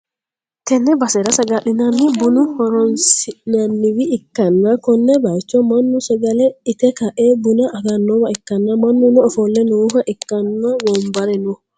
tenne basera sagalenna buna horonsi'nanniwa ikkanna, konne bayicho mannu sagale ite ka'e buna agannowa ikkanna, mannuno ofolle nooha ikkanna, wonbare no.